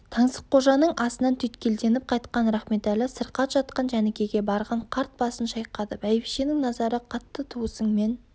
таңсыққожаның асынан түйткелденіп қайтқан рахметәлі сырқат жатқан жәнікеге барған қарт басын шайқады бәйбішенің назары қатты туысыңмен